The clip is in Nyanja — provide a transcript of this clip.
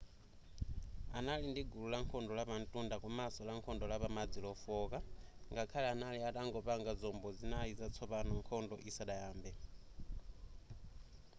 anali ndi gulu lankhondo lapantunda komanso lankhondo lapamadzi lofooka ngakhale anali atangopanga zombo zinayi zatsopano nkhondo isadayambe